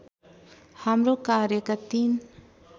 हाम्रो कार्यका तीन